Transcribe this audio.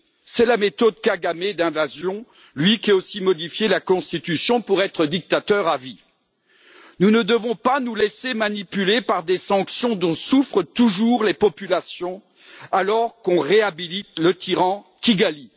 C'est la méthode Kagamé d'invasion, lui qui a aussi modifié la constitution pour être dictateur à vie. Nous ne devons pas nous laisser manipuler par des sanctions dont souffrent toujours les populations, alors que l'on réhabilite le tyran de Kigali.